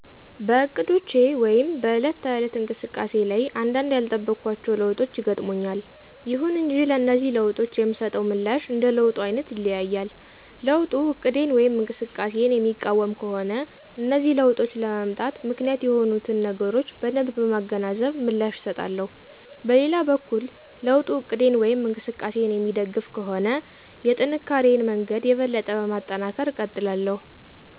በእቅዶቼ ወይም በዕለት ተዕለት እንቅስቃሴ ላይ አንዳንድ ያልጠበኳቸው ለውጦች ይገጥሙኛል። ይሁን እንጂ ለነዚህ ለውጦች የምሰጠው ምላሽ እንደ ለውጡ አይነት ይለያያል። ለውጡ እቅዴን ወይም እንቅስቃሴየን የሚቃወም ከሆነ እነዚህ ለውጦች ለመምጣት ምክንያት የሆኑትን ነገሮች በደንብ በማገናዘብ ምላሽ እሰጣለሁ። በሌላ በኩል ለውጡ እቅዴን ወይም እንቅስቃሴየን የሚደግፍ ከሆነ የጥንካሪየን መንገድ የበለጠ በማጠናከር እቀጥላለሁ።